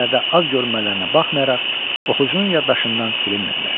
Əsərdə az görünmələrinə baxmayaraq, oxucunun yaddaşından silinmirlər.